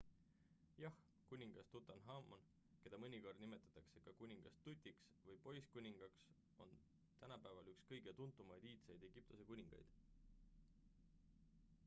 jah kuningas tutanhamon keda mõnikord nimetatakse ka kuningas tutiks või poisskuningaks on tänapäeval üks kõige tuntumaid iidseid egiptuse kuningaid